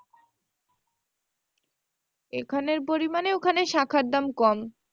এখানের পরিমানে ওখানে শাঁখার দাম কম।